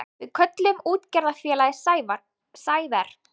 Við kölluðum útgerðarfélagið Sæver.